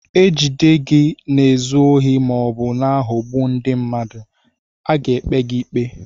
E jide gị na-ezu ohi ma ọ bụ na-aghọgbu ndị mmadụ, a ga-ekpe gị ikpe.